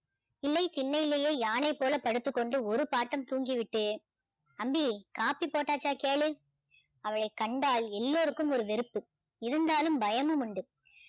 இல்லை திண்ணையிலே யானை போல படுத்துக்கொண்டு ஒரு பாட்டம் தூங்கிவிட்டு அம்பி காப்பி போட்டாச்சா கேளு அவளை கண்டால் எல்லோருக்கும் ஒரு வெறுப்பு இருந்தாலும் பயமும் உண்டு